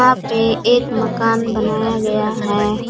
यहाँ पे एक मकान बनाया गया है।